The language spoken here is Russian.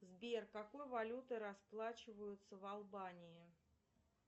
сбер какой валютой расплачиваются в албании